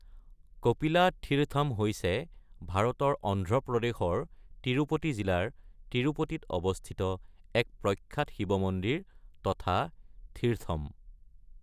কপিলা থিৰথম হৈছে ভাৰতৰ অন্ধ্ৰ প্ৰদেশৰ তিৰুপতি জিলাৰ তিৰুপতিত অৱস্থিত এক প্ৰখ্যাত শৈৱ মন্দিৰ তথা থিৰথম।